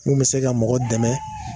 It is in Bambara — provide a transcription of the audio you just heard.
min bɛ se ka mɔgɔ dɛmɛ